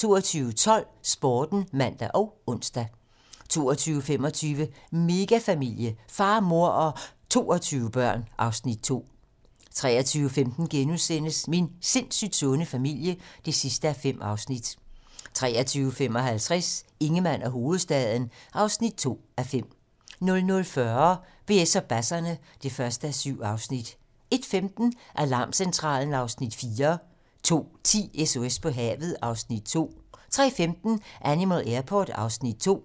22:12: Sporten (man og ons) 22:25: Megafamilie - far, mor og 22 børn (Afs. 2) 23:15: Min sindssygt sunde familie (5:5)* 23:55: Ingemann og hovedstaden (2:5) 00:40: BS og basserne (1:7) 01:15: Alarmcentralen (Afs. 4) 02:10: SOS på havet (Afs. 2) 03:15: Animal Airport (Afs. 2)